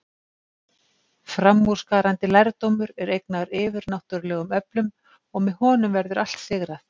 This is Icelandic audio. Framúrskarandi lærdómur er eignaður yfirnáttúrlegum öflum, og með honum verður allt sigrað.